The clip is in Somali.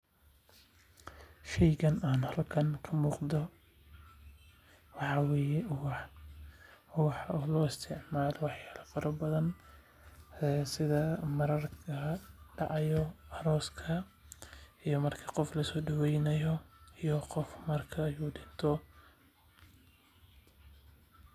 Sheygan halkan ka muuqdo waxaa waye wax loo isticmaalo waqtiya badan sida mararka aroos jiraan ama marka qof dinto.